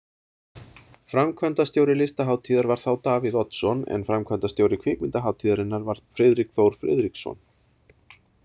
Framkvæmdastjóri listahátíðar var þá Davíð Oddsson en framkvæmdastjóri kvikmyndahátíðarinnar var Friðrik Þór Friðriksson.